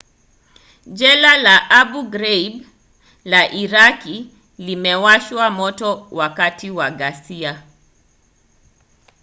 jela la abu ghraib la iraki limewashwa moto wakati wa ghasia